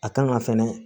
A kan ka fɛnɛ